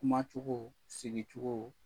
Kumacogo, sigicogo